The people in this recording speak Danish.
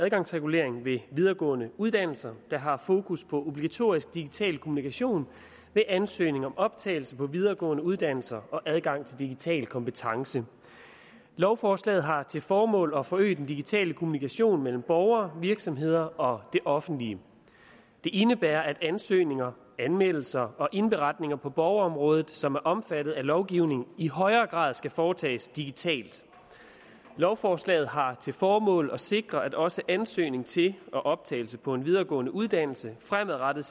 adgangsregulering ved videregående uddannelser har fokus på obligatorisk digital kommunikation ved ansøgning om optagelse på videregående uddannelser og adgang til digital kompetence lovforslaget har til formål at forøge den digitale kommunikation mellem borgere virksomheder og det offentlige det indebærer at ansøgninger anmeldelser og indberetninger på borgerområdet som er omfattet af lovgivningen i højere grad skal foretages digitalt lovforslaget har til formål at sikre at også ansøgning til og optagelse på en videregående uddannelse fremadrettet